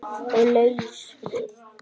Og laus við